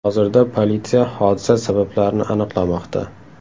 Hozirda politsiya hodisa sabablarini aniqlamoqda.